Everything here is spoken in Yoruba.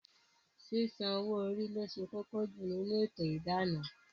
Sísan owó orí lo ṣe kókó jù nínú ètò idana